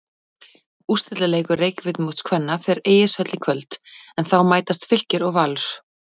Úrslitaleikur Reykjavíkurmóts kvenna fer Egilshöll í kvöld en þá mætast Fylkir og Valur.